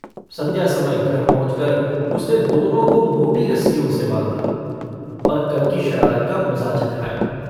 सन्ध्या समय घर पहुँचकर उसने दोनो को मोटी रस्सियों से बाँधा और कल की शरारत का मजा चखाया।